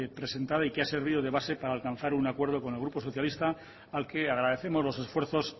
presentada y que ha servido de base para alcanzar un acuerdo con el grupo socialista al que agradecemos los esfuerzos